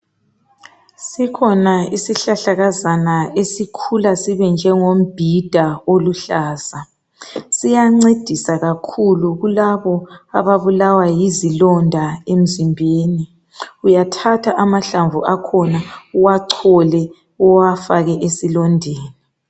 Sikhona isihlahlakazana esikhula sibe njengombhida oluhlaza. Siyancedisa kakhulu kulaba ababulawa yizilonda emzimbeni uyathatha amahlamvu akhona uwachole uwafake esilondeni.